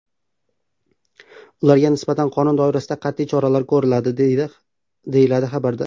Ularga nisbatan qonun doirasida qat’iy choralar ko‘riladi” , deyiladi xabarda.